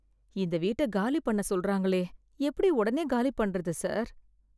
இந்த வீட்ட காலி பண்ண சொல்ராங்களே எப்படி உடனே காலி பண்றது சார்